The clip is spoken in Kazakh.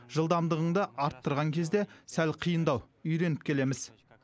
жылдамдығыңды арттырған кезде сәл қиындау үйреніп келеміз